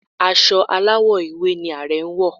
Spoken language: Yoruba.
Aṣọ aláwọ̀ ewé ni Ààrẹ̀ wọ̀